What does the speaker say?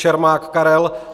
Čermák Karel